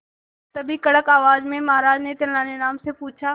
तभी कड़क आवाज में महाराज ने तेनालीराम से पूछा